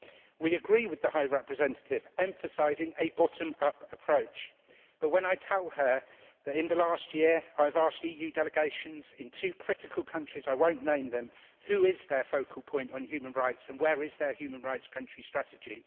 We agree with the High Representative emphasising a bottom up approach, but may I tell her that in the last year I have asked EU delegations in two critical countries I will not name them who is their focal point on human rights and where is their human rights country strategy?